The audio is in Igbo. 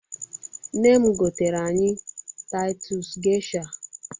NNe m gotere anyị Taịtus Gesha.